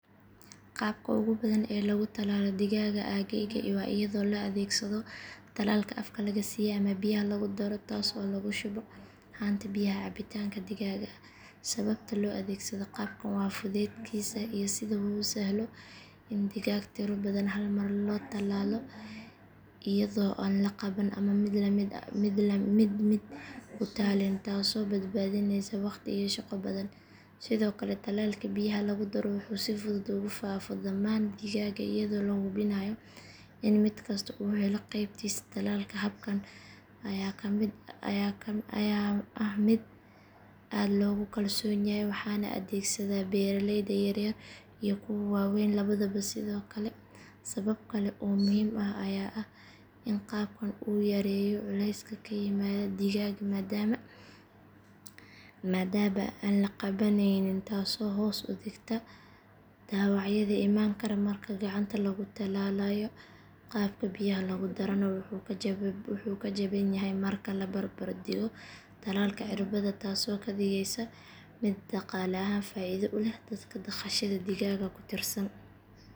Qaabka ugu badan ee lagu tallaalo digaaga aaggayga waa iyadoo la adeegsado tallaalka afka laga siiyo ama biyaha lagu daro taas oo lagu shubo haanta biyaha cabbitaanka digaaga sababta loo adeegsado qaabkan waa fudaydkiisa iyo sida uu u sahlo in digaag tiro badan hal mar loo tallaalo iyadoo aan la qaban ama la mid-mid u tallaalin taasoo badbaadinaysa waqti iyo shaqo badan sidoo kale tallaalka biyaha lagu daro wuxuu si fudud ugu faafo dhammaan digaaga iyadoo la hubinayo in mid kasta uu helo qaybtiisa tallaalka habkan ayaa ah mid aad loogu kalsoon yahay waxaana adeegsada beeraleyda yaryar iyo kuwa waaweyn labadaba sidoo kale sabab kale oo muhiim ah ayaa ah in qaabkan uu yareeyo culayska ku yimaada digaaga maadaama aan la qabanayn taasoo hoos u dhigta dhaawacyada iman kara marka gacanta lagu tallaalayo qaabka biyaha lagu darana wuxuu ka jaban yahay marka la barbar dhigo tallaalka cirbadda taasoo ka dhigaysa mid dhaqaale ahaan faa’iido u leh dadka dhaqashada digaaga ku tiirsan.